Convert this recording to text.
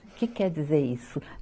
O que quer dizer isso?